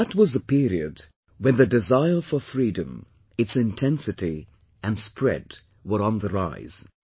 That was the period when the desire for freedom, its intensity, and spread were on the rise